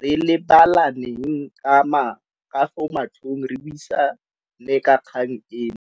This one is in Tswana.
re lebelaneng ka fo matlhong re buisane ka kgang eno.